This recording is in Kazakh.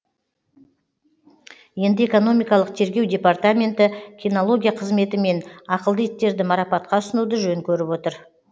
енді экономикалық тергеу департаменті кинология қызметі мен ақылды иттерді марапатқа ұсынуды жөн көріп отыр